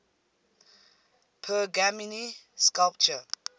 pergamene sculpture